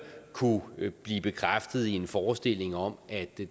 kunne blive bekræftet i en forestilling om at det